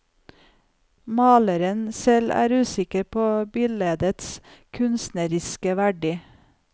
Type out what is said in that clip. Maleren selv er usikker på bildets kunstneriske verdi.